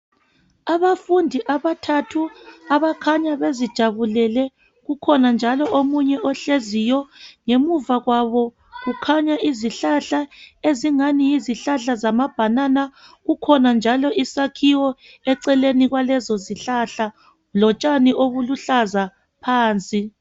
Abafundi abathathu abakhanya bezijabulele .Kukhona njalo omunye ohleziyo . Ngemuva kwabo kukhanya izihlahla ezingani yizihlahla zama banana .Kukhona njalo isakhiwo eceleni kwalezi zihlahla. Lotshani obuluhlaza phansi .